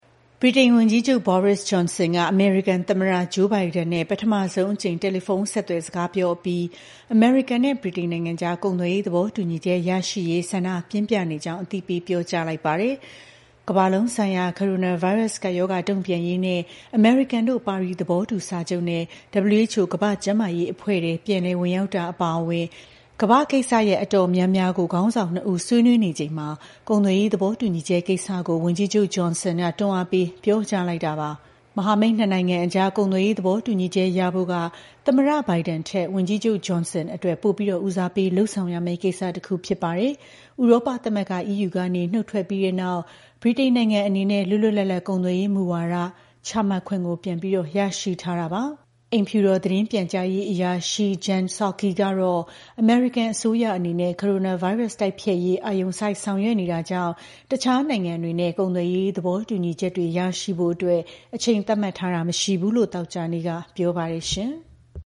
ဗြိတိန်ဝန်ကြီးချုပ် Boris Johnson က အမေရိကန်သမ္မတ Joe Biden နဲ့ ပထမဆုံးအကြိမ် တယ်လီဖုန်းဆက်သွယ် စကားပြောပြီး အမေရိကန်နဲ့ ဗြိတိန်နိုင်ငံအကြား ကုန်သွယ်ရေး သဘောတူညီချက် ရရှိရေး ဆန္ဒပြင်းပြနေကြောင်း အသိပေး ပြောကြားလိုက်ပါတယ်။ ကမ္ဘာလုံးဆိုင်ရာ ကိုရိုနာဗိုင်းရပ်စ် ကပ်ရောဂါ တုံ့ပြန်ရေးနဲ့ အမေရိကန်တို့ ပါရီ သဘောတူစာချုပ်နဲ့ WHO ကမ္ဘာ့ကျန်းမာရေးအဖွဲ့ထဲ ပြန်လည်ဝင်ရောက်တာ အပါအဝင် ကမ္ဘာ့ကိစ္စရပ် တော်တော်များများကို ခေါင်းဆောင်နှစ်ဦး ဆွေးနွေးနေခဲ့သလို ကုန်သွယ်ရေး သဘောတူညီချက်ကိစ္စ ဝန်ကြီးချုပ် Johnson က တွန်းအားပေး ပြောကြားခဲ့တာ ဖြစ်ပါတယ်။ မဟာမိတ်နှစ်နိုင်ငံအကြား ကုန်သွယ်ရေး သဘောတူညီချက် ရဖို့က သမ္မတ Biden ထက် ဝန်ကြီးချုပ် Johnson အတွက် ပိုပြီး ဦးစားပေးလုပ်ရမယ့်ကိစ္စတခု ဖြစ်ပါတယ်။ ဥရောပသမဂ္ဂ (EU) ကနေ နုတ်ထွက်ပြီးတဲ့နောက် ဗြိတိန်နိုင်ငံအနေနဲ့ လွတ်လွတ်လပ်လပ် ကုန်သွယ်ရေးမူဝါဒ ချမှတ်ခွင့် ပြန်လည်ရရှိထားတာပါ။ အိမ်ဖြူတော် သတင်းပြန်ကြားရေးအရာရှိ Jen Psaki ကတော့ အမေရိကန်အစိုးရ အနေနဲ့ ကိုရိုနာဗိုင်းရပ်စ် တိုက်ဖျက်ရေး အာရုံစိုက် ဆောင်ရွက်နေတာကြောင့် တခြားနိုင်ငံတွေနဲ့ ကုန်သွယ်ရေး သဘောတူညီချက်တွေ ရရှိဖို့အတွက် အချိန်သတ်မှတ်ထားတာ မရှိဘူးလို့ သောကြာနေ့က ပြောပါတယ်။